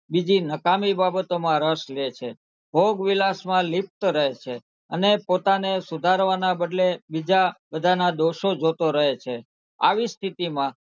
બીજી નકામી બાબતોમાં રસ લે છે ભોગવિલાસમાં લિપ્ત રહે છે અને પોતાને સુધારવાના બદલે બીજા બધાનાં દોષો જોતો રહે છે આવી સ્થિતિમાં,